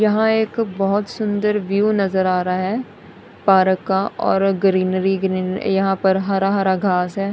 यहां एक बहोत सुंदर व्यू नजर आ रहा है पारक का और ग्रीनरी ग्रीन यहां पर हरा हरा घास है।